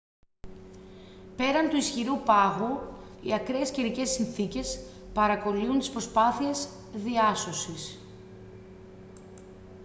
πέραν του ισχυρού πάγου οι ακραίες καιρικές συνθήκες παρακωλύουν τις προσπάθειες διάσωσης